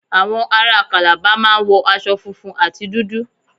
Àwọn aráa Calabar máa ń wọ aṣo funfun àti dúdú.